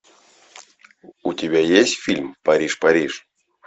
у тебя есть фильм париж париж